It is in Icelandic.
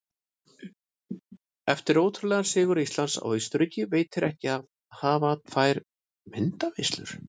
Eftir ótrúlegan sigur Íslands á Austurríki veitir ekki af að hafa tvær myndaveislur.